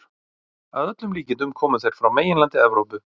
Að öllum líkindum komu þeir frá meginlandi Evrópu.